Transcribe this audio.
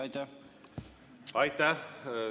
Aitäh!